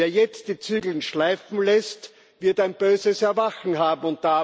Wer jetzt die Zügel schleifen lässt, wird ein böses Erwachen haben.